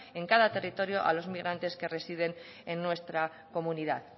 en cada territorio a los migrantes que residen en nuestra comunidad